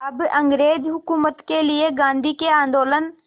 अब अंग्रेज़ हुकूमत के लिए गांधी के आंदोलन